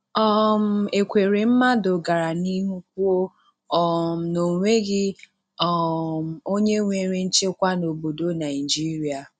um Ekweremadu gara n'ihu kwuo um na onweghi um onye nwere nchekwa n'obodo Naịjirịa.